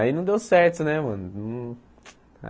Aí não deu certo, né, mano? Não